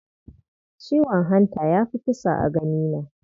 Ciwon hanta ya fi kisa a ganina.